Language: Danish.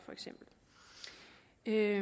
det er